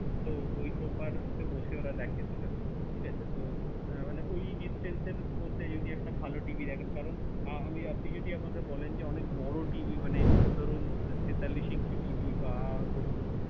তো ঐ sofa র তে বসে ওঁরা দেখে দুজনা। ঠিক আছে? তো মানে ঐ distance এর মধ্যে যদি একটা ভালও TV দেখেন, কারন, আম~ আপনি যদি আমাকে বলেন যে, অনেক বড়ো TV মানে, ধরুন তেতাল্লিশ inch TV বা ধরুন,